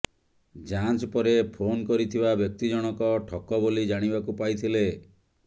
ଯାଞ୍ଚ ପରେ ଫୋନ୍ କରିଥିବା ବ୍ୟକ୍ତି ଜଣକ ଠକ ବୋଲି ଜାଣିବାକୁ ପାଇଥିଲେ